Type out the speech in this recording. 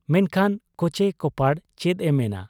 ᱢᱮᱱᱠᱷᱟᱱ ᱠᱚᱪᱮ ᱠᱚᱯᱟᱲ ᱪᱮᱫ ᱮ ᱢᱮᱱᱟ ᱾